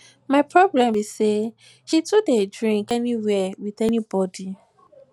my problem be say she too dey drink anywhere with anybody